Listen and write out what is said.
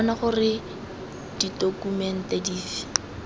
bona gore ke ditokumente dife